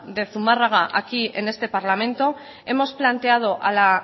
de zumarraga aquí en este parlamento hemos planteado a la